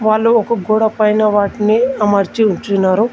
వాళ్ళు ఒక గోడ పైన వాటిని అమర్చి ఉంచినారు.